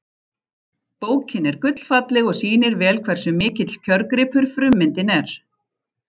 Bókin er gullfalleg og sýnir vel hversu mikill kjörgripur frummyndin er.